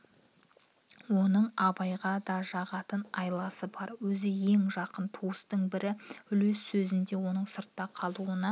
оның абайға да жағатын айласы бар өзі ең жақын туыстың бірі үлес сөзінде оның сыртта қалуына